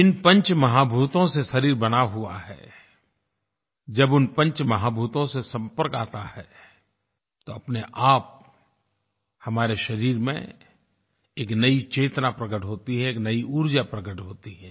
जिन पंच महाभूतों से शरीर बना हुआ है जब उन पंच महाभूतों से संपर्क आता है तो अपने आप हमारे शरीर में एक नयी चेतना प्रकट होती है एक नयी ऊर्जा प्रकट होती है